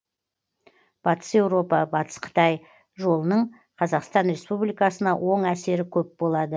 батыс еуропа батыс қытай жолының қазақстан республикасына оң әсері көп болады